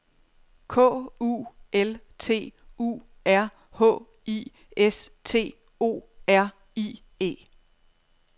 K U L T U R H I S T O R I E